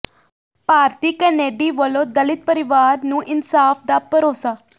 ਭਾਰਤੀ Kennedy ਵੱਲੋਂ ਦਲਿਤ ਪਰਿਵਾਰ ਨੂੰ ਇਨਸਾਫ਼ ਦਾ ਭਰੋਸਾ